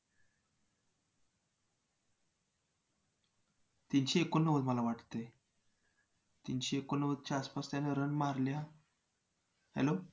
तीनशे एकोनव्वद मला वाटतंय. तीनशे एकोनव्वदच्या आसपास त्यानं run मारल्या. hello